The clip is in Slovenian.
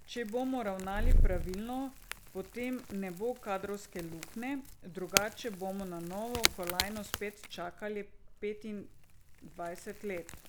Če bomo ravnali pravilno, potem ne bo kadrovske luknje, drugače bomo na novo kolajno spet čakali petindvajset let.